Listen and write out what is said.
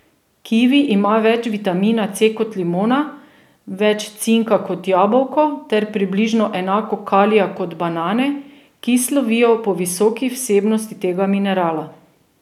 Kivi ima več vitamina C kot limona, več cinka kot jabolko ter približno enako kalija kot banane, ki slovijo po visoki vsebnosti tega minerala.